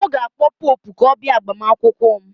M ga-akpọ Popụ ka ọ bịa agbamakwụkwọ m